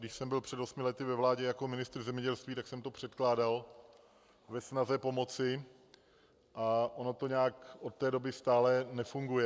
Když jsem byl před osmi lety ve vládě jako ministr zemědělství, tak jsem to předkládal ve snaze pomoci, a ono to nějak od té doby stále nefunguje.